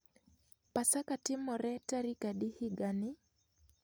Pasaka timore tarik adi higani?